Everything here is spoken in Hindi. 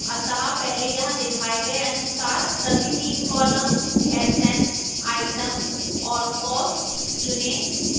अतः पहले यहां दिखाए गए अनुसार सभी तीन columns sn items और cost चुनें